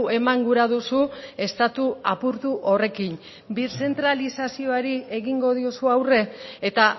eman gura duzu estatu apurtu horrekin birzentralizazioari egingo diozu aurre eta